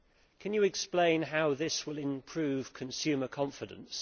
Can you explain how this will improve consumer confidence?